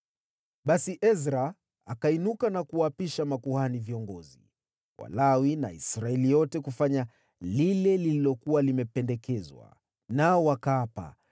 Basi Ezra akainuka na kuwaapisha makuhani viongozi, Walawi na Israeli yote kufanya lile lililokuwa limependekezwa. Nao wakaapa.